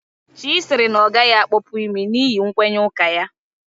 Chy sịrị na ọ gaghị akpọpu imi ya n'ihi nkwenye ụka ya